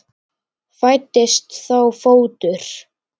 Fæddist þá fótur.